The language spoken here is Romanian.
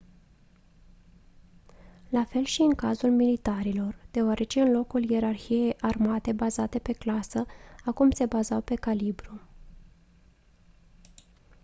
la fel și în cazul militarilor deoarece în locul ierarhiei armate bazate pe clasă acum se bazau pe calibru